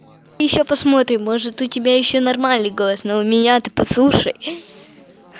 ещё посмотрим может у тебя ещё нормальный голос но у меня ты послушай